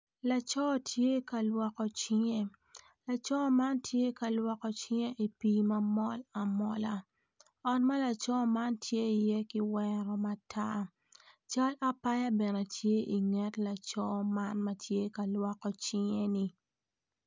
Laco tye ka lwoko cinge laco man tye ka lwoko cinge i pii man mol amola ot ma laco man tye iye kiweo matar cal apaya bene tye i nget laco man ma tye ka lwoko cinge-ni.